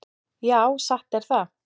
Já, satt er það.